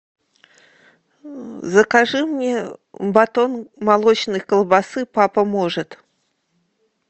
закажи мне батон молочной колбасы папа может